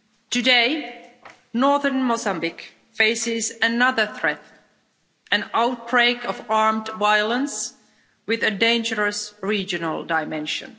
Today, northern Mozambique faces another threat an outbreak of armed violence with a dangerous regional dimension.